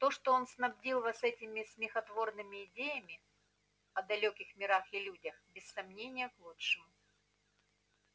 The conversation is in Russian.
то что он снабдил вас этими смехотворными идеями о далёких мирах и людях без сомнения к лучшему